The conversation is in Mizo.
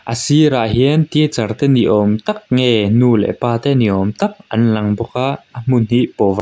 a sirah hian teacher te ni awm tak nge nu leh pa te ni awm tak an lang bawk a a hmun hi pov --